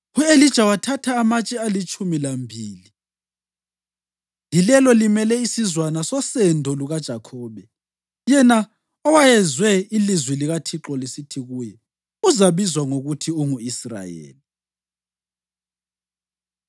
U-Elija wathatha amatshe alitshumi lambili, yilelo limele isizwana sosendo lukaJakhobe, yena owayezwe ilizwi likaThixo lisithi kuye, “Uzabizwa ngokuthi ungu-Israyeli.”